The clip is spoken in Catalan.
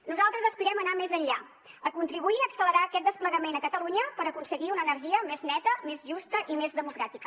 nosaltres aspirem a anar més enllà a contribuir a accelerar aquest desplegament a catalunya per aconseguir una energia més neta més justa i més democràtica